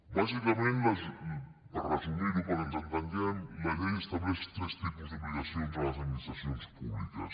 bàsicament per resumir ho perquè ens entenguem la llei estableix tres tipus d’obligacions a les administracions públiques